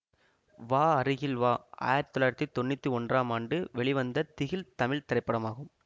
வா அருகில் வா ஆயிரத்தி தொள்ளாயிரத்தி தொன்னூற்தி ஒன்றாம் ஆண்டு வெளிவந்த திகில் தமிழ் திரைப்படம்